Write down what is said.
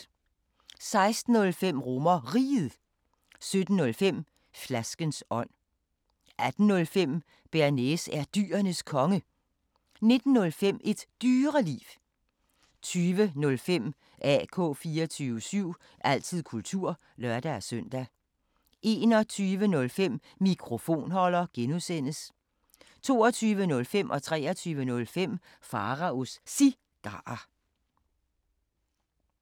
16:05: RomerRiget 17:05: Flaskens ånd 18:05: Bearnaise er Dyrenes Konge 19:05: Et Dyreliv 20:05: AK 24syv – altid kultur (lør-søn) 21:05: Mikrofonholder (G) 22:05: Pharaos Cigarer 23:05: Pharaos Cigarer